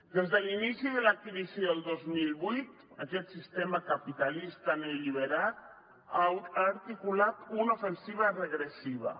des de l’inici de la crisi del dos mil vuit aquest sistema capitalista neoliberal ha articulat una ofensiva regressiva